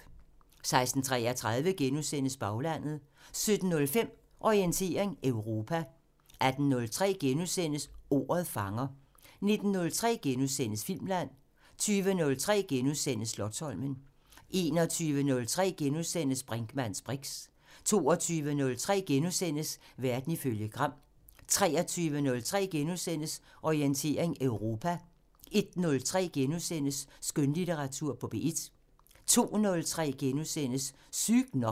16:33: Baglandet * 17:05: Orientering Europa 18:03: Ordet fanger * 19:03: Filmland * 20:03: Slotsholmen * 21:03: Brinkmanns briks * 22:03: Verden ifølge Gram * 23:03: Orientering Europa * 01:03: Skønlitteratur på P1 * 02:03: Sygt nok *